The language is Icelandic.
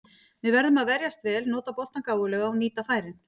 Við verðum að verjast vel, nota boltann gáfulega og nýta færin.